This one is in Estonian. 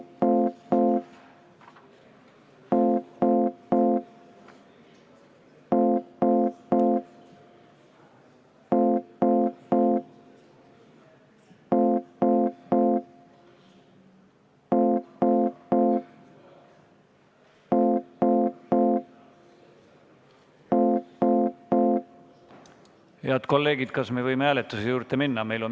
Head kolleegid, kas me võime hääletuse juurde minna?